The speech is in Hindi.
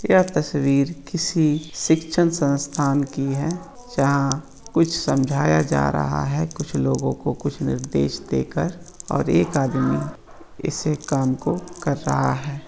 यह तस्वीर किसी शिक्षण संस्थान की है जहाँ कुछ समझाया जा रहा है कुछ लोगो को कुछ निर्देश देकर और एक आदमी इसी काम को कर रहा है।